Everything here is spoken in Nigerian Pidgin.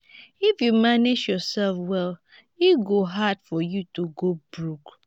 if you manage yoursef well e go hard for you to go broke.